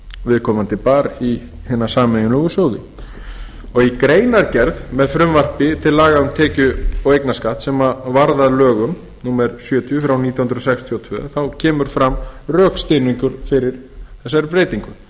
viðkomandi bar í hina sameiginlegu sjóði í greinargerð með frumvarpi til laga um tekju og eignarskatt sem varð að lögum númer sjötíu frá nítján hundruð sextíu og tvö kemur fram rökstuðningur fyrir þessari breytingu